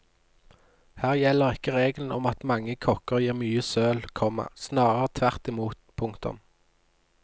Her gjelder ikke regelen om at mange kokker gir mye søl, komma snarere tvert i mot. punktum